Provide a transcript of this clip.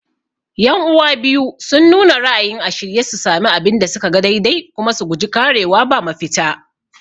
Yan'uwa biyu sun nuna ra'ayin a shirye su sami abin da suka ga daidai kuma su guji ƙarewa ba mafita